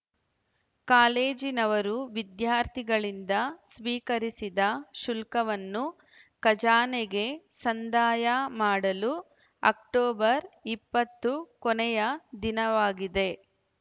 ಕಾಲೇಜಿನವರು ವಿದ್ಯಾರ್ಥಿಗಳಿಂದ ಸ್ವೀಕರಿಸಿದ ಶುಲ್ಕವನ್ನು ಖಜಾನೆಗೆ ಸಂದಾಯ ಮಾಡಲು ಅಕ್ಟೋಬರ್ ಇಪ್ಪತ್ತು ಕೊನೆಯ ದಿನವಾಗಿದೆ